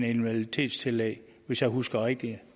invaliditetstillæg hvis jeg husker rigtigt